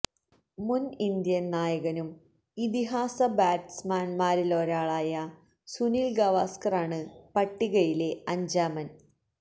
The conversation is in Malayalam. മുന് ഇന്ത്യന് നായകനും ഇതിഹാസ ബാറ്റ്സ്മാന്മാരിലൊരാളുമായ സുനില് ഗവാസ്കറാണ് പട്ടികയിലെ അഞ്ചാമന്